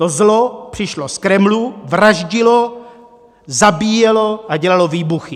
To zlo přišlo z Kremlu, vraždilo, zabíjelo a dělalo výbuchy.